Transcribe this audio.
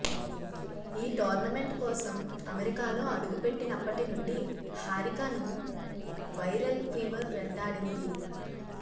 ఈ టోర్నమెంట్ కోసం అమెరికాలో అడుగుపెట్టినప్పటి నుండి హారికను వైరల్ ఫీవర్ వెంటాడింది